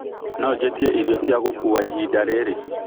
no njĩĩtĩe ĩrĩo cĩa gũkũwa ĩhĩnda rĩrĩ